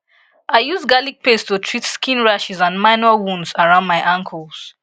i use garlic paste to treat skin rashes and minor wounds around my ankles